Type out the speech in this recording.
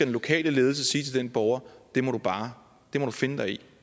lokale ledelse sige til den borger det må du finde dig i